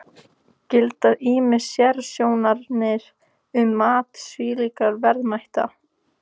Gilda ýmis sérsjónarmið um mat slíkra verðmæta.